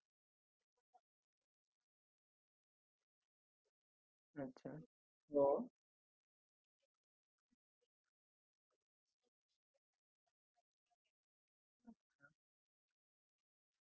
त्याच्यात जास्त काही नसणार आहे bond वगैरे असे काही sign नाही करणार आपण फक्त that set कि हे एक record साठी कि हा replacement piece आणि मी स्वखुशीने पाच हजार रुपय extra देत आहे जरी तुम्ही cash on delivery ठेवली